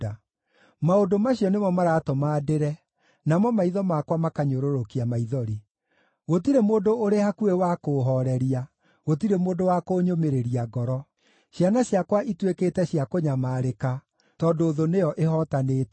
“Maũndũ macio nĩmo maratũma ndĩre, namo maitho makwa makanyũrũrũkia maithori. Gũtirĩ mũndũ ũrĩ hakuhĩ wa kũũhooreria, gũtirĩ mũndũ wa kũnyũmĩrĩria ngoro. Ciana ciakwa ituĩkĩte cia kũnyamarĩka tondũ thũ nĩyo ĩhootanĩte.”